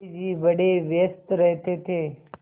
गाँधी जी बड़े व्यस्त रहते थे